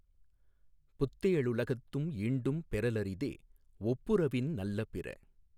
புத்தே ளுலகத்தும் ஈண்டும் பெறலரிதே ஒப்புரவின் நல்ல பிற